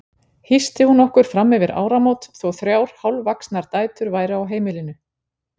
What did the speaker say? Hýsti hún okkur frammyfir áramót þó þrjár hálfvaxnar dætur væru á heimilinu.